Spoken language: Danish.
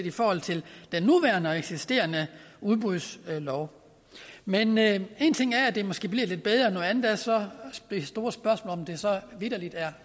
i forhold til den nuværende og eksisterende udbudslov men men én ting er at det måske bliver lidt bedre noget andet er så det store spørgsmål om om det så vitterlig er